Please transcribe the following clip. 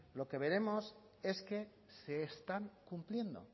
lo que veremos es que se están cumpliendo